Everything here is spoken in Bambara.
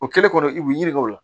O kɛlen kɔni i bɛ yiri kɛ o la